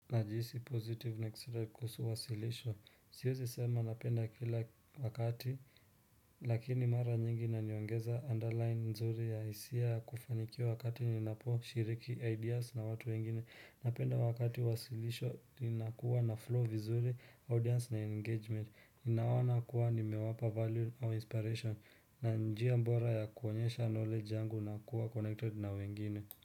Najihisi positive na kisira kuwasirishwa, siwezisema napenda kila wakati, lakini mara nyingi na niongeza underline nzuri ya hisia ya kufanikiwa wakati ninaposhiriki ideas na watu wengine, napenda wakati wasilisho inakuwa na flow vizuri, audience na engagement, ninaonana kuwa nimewapa value au inspiration, na njia bora ya kuonyesha knowledge yangu na kuwa connected na wengine.